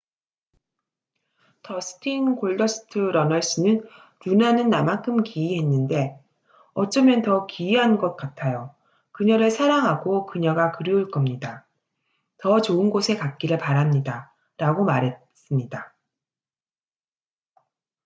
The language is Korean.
"더스틴 "골더스트" 러널스는 "루나는 나만큼 기이했는데... 어쩌면 더 기이한 것 같아요 그녀를 사랑하고 그녀가 그리울 겁니다 더 좋은 곳에 갔기를 바랍니다""라고 말했습니다.